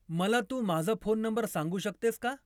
मला तू माझा फोन नंबर सांगू शकतेस का?